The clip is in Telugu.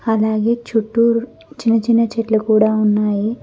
అలాగే చుట్టూరు చిన్న చిన్న చెట్లు కూడా ఉన్నాయి.